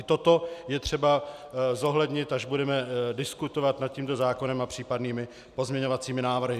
I toto je třeba zohlednit, až budeme diskutovat nad tímto zákonem a případnými pozměňovacími návrhy.